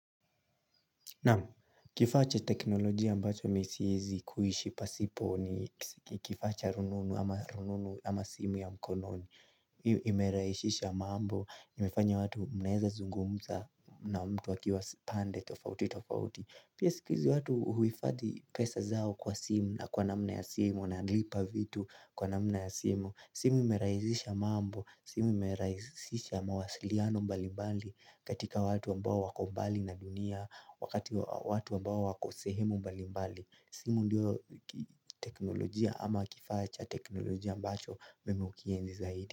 Naam kifaa cha teknolojia ambacho mimi siwezi kuishi pasipo ni kifaacha rununu ama simu ya mkononi Imerahishisha mambo, imefanya watu mnaweza zungumza na mtu akiwa pande tofauti tofauti Pia siku hizi watu huhi fadhi pesa zao kwa simu na kwa namna ya simu nalipa vitu kwa namna ya simu simu imerahishisha mambo, simu imerahishisha mawasiliano mbali mbali katika watu ambao wakombali na dunia Wakati watu ambao wako sehemu mbali mbali simu ndiyo teknolojia ama kifaacha teknolojia ambacho mimi hukienzi zaidi.